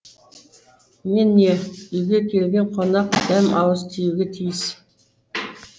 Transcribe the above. мен не үйге келген қонақ дәм ауыз тиюге тиіс